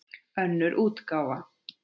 Önnur útgáfa.